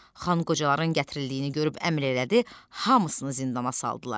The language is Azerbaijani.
Xan qocaların gətirildiyini görüb əmr elədi, hamısını zindana saldılar.